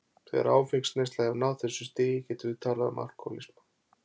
Þegar áfengisneysla hefur náð þessu stigi getum við talað um alkohólisma.